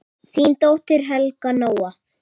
Þín dóttir, Helga Nóa.